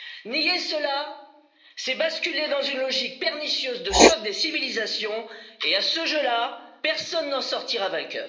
Nier cela, c'est basculer dans une logique pernicieuse de choc des civilisations et à ce jeu là, personne ne sortira gagnant.